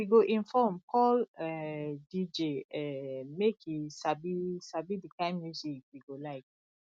we go inform call um dj um make e sabi sabi the kind music we go like